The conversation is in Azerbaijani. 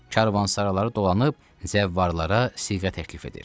Karvansaraları dolanıb zəvvarlara siğə təklif edir.